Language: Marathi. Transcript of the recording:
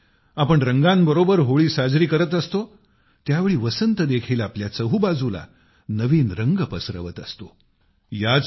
ज्यावेळी आपण रंगांबरोबर होळी साजरी करत असतो त्यावेळी वसंत देखील आपल्या चहूबाजूला नवीन रंग पसरवत असतो